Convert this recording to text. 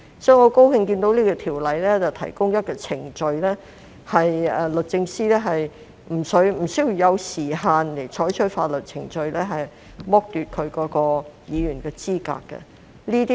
所以，我很高興看到《條例草案》提出一項程序，就是律政司司長可沒有時限採取法律程序，以剝奪該議員的資格。